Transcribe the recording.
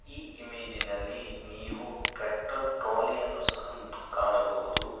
ಈ ಇಮೇಜಿನಲ್ಲಿ ನೀವು ಟ್ರ್ಯಾಕ್ಟರ್ ಟ್ರಾಲಿಯನ್ನು ಸಹ ಕಾಣಬಹುದು.